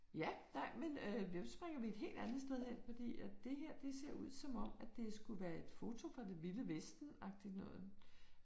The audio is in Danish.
Ja, nej, men øh vi jo springer vi et helt andet sted hen fordi at det her det ser ud som om at det skulle være et foto fra det vilde vesten agtigt noget